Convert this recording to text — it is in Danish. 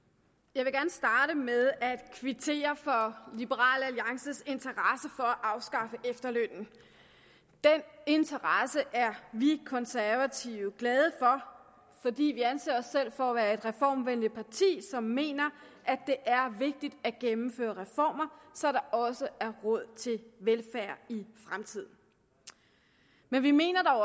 jeg vil gerne starte med at kvittere for liberal alliances interesse for at afskaffe efterlønnen den interesse er vi konservative glade for fordi vi anser os selv for at være et reformvenligt parti som mener at det er vigtigt at gennemføre reformer så der også er råd til velfærd i fremtiden men vi mener dog